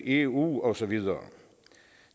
eu og så videre